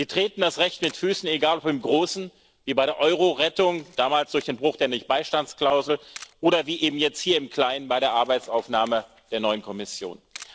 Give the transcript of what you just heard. Sie treten das Recht mit Füßen, egal ob im Großen wie bei der Eurorettung damals durch den Bruch der Nichtbeistandsklausel oder wie eben jetzt hier im Kleinen bei der Arbeitsaufnahme der neuen Kommission.